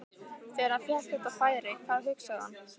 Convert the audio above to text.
Þegar hann fékk þetta færi, hvað hugsaði hann?